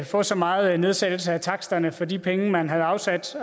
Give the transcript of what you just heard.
få så meget nedsættelse af taksterne for de penge man havde afsat